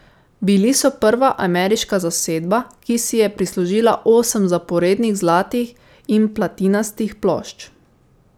Bili so prva ameriška zasedba, ki si je prislužila osem zaporednih zlatih in platinastih plošč.